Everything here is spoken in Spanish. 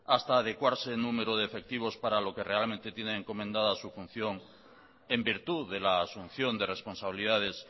hasta adecuarse en número de efectivos para lo que realmente tienen encomendada su función en virtud de la asunción de responsabilidades